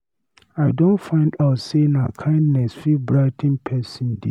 I don find out sey na kindness fit brigh ten pesin day.